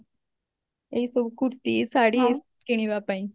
ଏଇ ସବୁ kurti ଶାଢୀ କିଣିବା ପାଇଁ